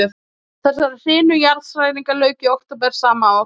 Þessari hrinu jarðhræringa lauk í október sama ár.